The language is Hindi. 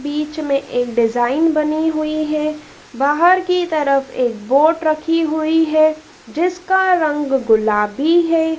बीच में एक डिजाइन बनी हुई है बाहर की तरफ एक बोट रखी हुई है जिसका रंग गुलाबी है।